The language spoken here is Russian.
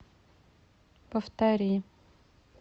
повтори